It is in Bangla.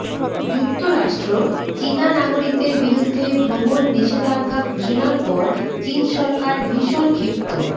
যুক্তরাষ্ট্র চীনা নাগরিকদের বিরুদ্ধে ভ্রমণ নিষেধাজ্ঞা ঘোষণার পর চীন সরকার ভীষণ ক্ষিপ্ত